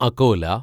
Akola